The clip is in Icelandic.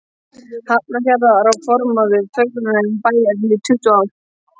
Hafnarfjarðar og formaður fegrunarnefndar bæjarins í tuttugu ár.